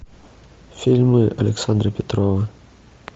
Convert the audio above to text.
фильмы александра петрова